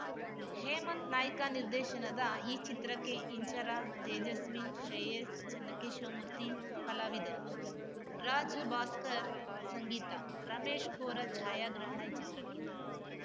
ಹೇಮಂತ್‌ ನಾಯ್ಕ ನಿರ್ದೇಶನದ ಈ ಚಿತ್ರಕ್ಕೆ ಇಂಚರ ತೇಜಸ್ವಿ ಶ್ರೇಯಸ್‌ ಚನ್ನಕೇಶವ ಮೂರ್ತಿ ಕಲಾವಿದರು ರಾಜ್‌ ಭಾಸ್ಕರ್‌ ಸಂಗೀತ ರಮೇಶ್‌ ಕೋರಾ ಛಾಯಾಗ್ರಹಣ ಈ ಚಿತ್ರಕ್ಕಿದೆ